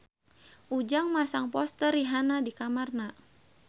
Ujang masang poster Rihanna di kamarna